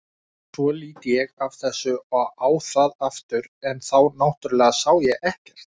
Svo lít ég af þessu og á það aftur en þá náttúrlega sá ég ekkert.